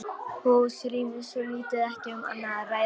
Húsrými svo lítið, ekki um annað að ræða.